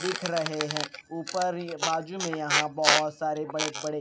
दिख रहे हैं ऊपर ये बाजू में यहाँ पर बहुत सारे बड़े बड़े --